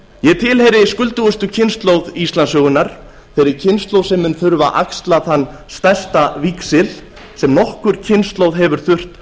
ég tilheyri skuldugustu kynslóð íslandssögunnar þeirri kynslóð sem mun þurfa að axla þann stærsta víxil sem nokkur kynslóð hefur þurft að